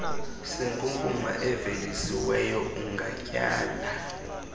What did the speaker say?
senkunkuma evelisiweyo ungatyala